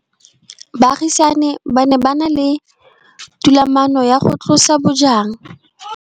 Baagisani ba ne ba na le tumalanô ya go tlosa bojang.